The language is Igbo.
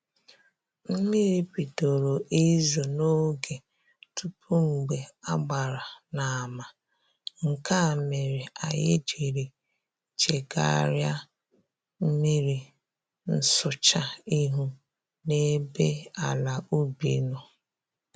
Mmiri bidoro izo n'oge tupu mgbe a gbara n'ama, nke a mere anyị jiri chegarịa mmiri nsụcha ihu n'ebe ala ubi nọ